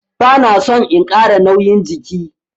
Bana son in Kara nauyin jiki.